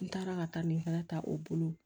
N taara ka taa nin fana ta o bolo